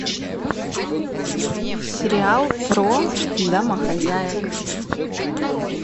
сериал про домохозяек